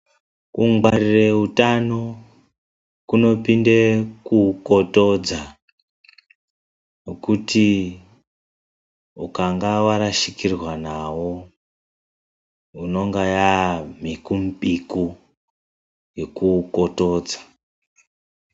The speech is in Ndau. Kugwarira utano kunopinde kuukotodza. Nokuti ukanga warashikirwa nawo unenge wamhikumupiku yekuukotodza.